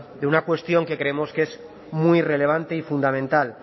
de una cuestión que creemos que es muy relevante y fundamental